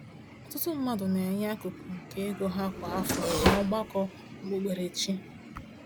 Ọtụtụ mmadụ na-enye akụkụ nke ego ha kwa afọ n’ọgbakọ okpukperechi.